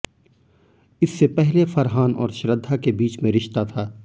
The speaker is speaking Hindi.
इससे पहले फरहान और श्रद्धा के बीच में रिश्ता था